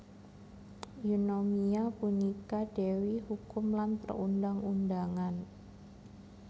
Eunomia punika dewi hukum lan perundang undangan